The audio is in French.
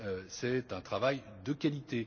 C'est un travail de qualité.